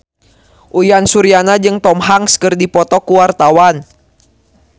Uyan Suryana jeung Tom Hanks keur dipoto ku wartawan